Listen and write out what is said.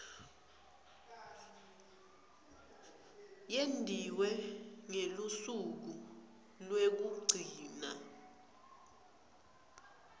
yentiwe ngelusuku lwekugcina